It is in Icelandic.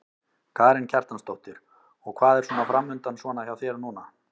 Karen Kjartansdóttir: Og hvað er svona framundan svona hjá þér núna?